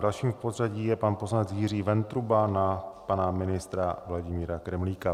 Dalším v pořadí je pan poslanec Jiří Ventruba na pana ministra Vladimíra Kremlíka.